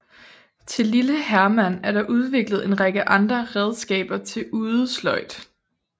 Til Lille Herman er der udviklet en række andre redskaber til udesløjd